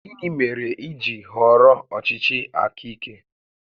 Gịnị mere i ji họrọ ọchịchị aka ike?